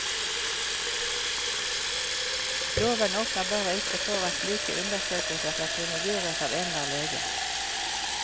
Loven åpner bare ikke for at slike undersøkelser skal kunne gjøres av enhver lege.